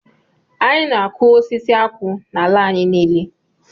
Anyị na-akụ osisi akwụ n'ala anyị niile